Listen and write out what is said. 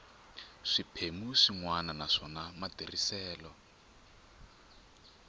swiphemu swin wana naswona matirhiselo